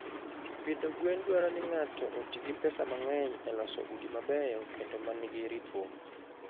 Pidho gwen dwaro ni ng'ato oti gi pesa mang'eny e loso udi mabeyo kendo ma nigi ritruok.